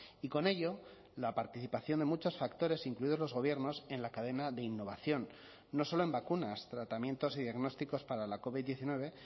y con ello la participación de muchos factores incluidos los gobiernos en la cadena de innovación no solo en vacunas tratamientos y diagnósticos para la covid diecinueve